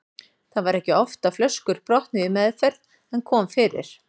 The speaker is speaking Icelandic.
Það var ekki oft að flöskur brotnuðu í meðferð en kom fyrir.